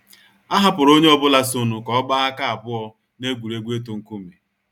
A hapụrụ onye ọbụla so nu ka ọ gbaa aka abụọ n’egwuregwu itu nkume.